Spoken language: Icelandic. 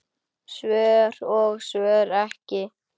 Svör og svör ekki.